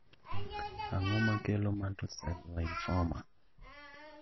Ang'o makelo Mantle cell lymphoma